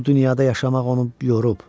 Bu dünyada yaşamaq onu yorub.